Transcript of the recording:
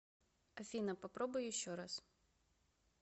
афина попробуй еще раз